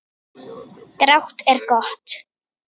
Grátt er gott.